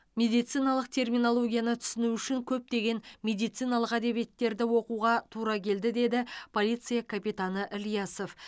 медициналық терминологияны түсіну үшін көптеген медициналық әдебиеттерді оқуға тура келді деді полиция капитаны ілиясов